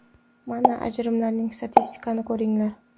Mana, ajrimlarning statistikasini ko‘ringlar.